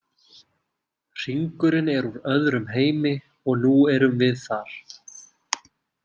Hringurinn er úr öðrum heimi og nú erum við þar.